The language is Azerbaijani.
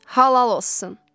Halal olsun.